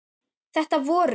Þetta voru